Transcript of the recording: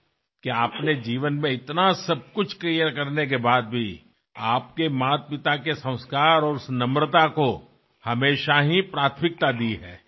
आयुष्यात इतके सगळे साध्य केल्यानंतर सुद्धा तुम्ही नेहमीच आईवडिलांचे संस्कार आणि नम्र वागणुकीला प्राधान्य दिलं आहे